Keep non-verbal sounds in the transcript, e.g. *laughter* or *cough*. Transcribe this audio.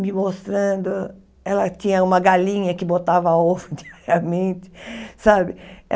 me mostrando... Ela tinha uma galinha que botava ovo *laughs* diariamente, sabe?